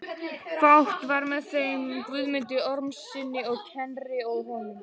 Fátt var með þeim Guðmundi Ormssyni á Knerri og honum.